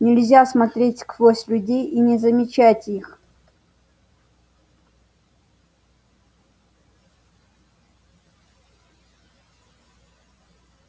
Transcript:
нельзя смотреть сквозь людей и не замечать их